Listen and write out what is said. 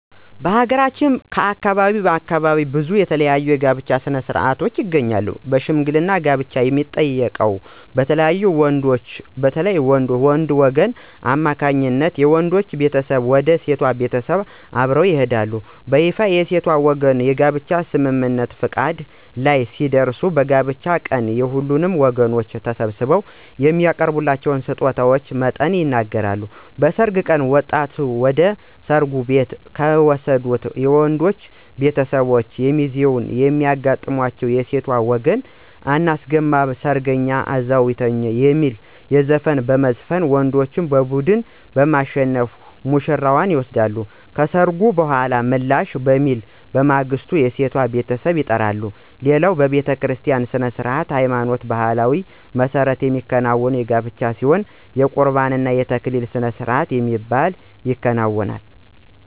በሀገራችን ከአካባቢ አካባቢ ብዙ የተለያዩ የጋብቻ ሥነ-ሥርዓቶች ይገኛሉ በሽምግልና ጋብቻን የሚጠይቀው በተለይም በወንዶች ወገን አማካኝነት ነው። የወንዱ ቤተሰቦች ወደ ሴቷ ቤተሰቦች አብረው ይሄዳሉ። በይፋ የሴቷ ወገኖች የጋብቻ ስምምነት(ፈቃድ) ላይ ሲደርሱ በጋብቻው ቀን የሁለቱም ወገኖች በተሰበሰቡበት የሚያቀርበውን የስጦታ መጠን ይነጋገራሉ። በሰርግ ቀን ወጣቷን ወደ ሰርጉ ቦታ ከሚወስዱት የወንዶች ቤተሰቦች እና ሚዜዎች የሚያጋጥማቸው የሴት ወገን *አናስገባም ሰርገኛ እዛው ይተኛ* የሚል ዘፈን በመዝፈን ወንዶች ቡድን በማሸነፍ ውሽራዋን ይወስዳሉ። ከሰርጉ በኃላ ምላሽ በሚል በማግስቱ የሴቷ ቤተሰብ ይጠራሉ። ሌላው በቤተክርስቲያ ሥነ-ሥርዓት በሃይማኖትና በባህሉ መሠረት የሚከናወን ጋብቻ ሲሆን የቁርባን እና የተክሊል ስርአት በሚባል ይከናወናል።